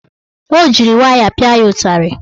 O jiri waya pịa ya ụtarị.